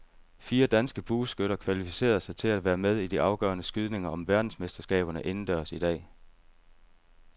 Fire danske bueskytter kvalificerede sig til at være med i de afgørende skydninger om verdensmesterskaberne indendørs i dag.